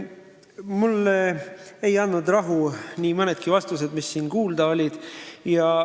Mulle ei anna rahu nii mõnigi vastus, mis siin kuulda oli.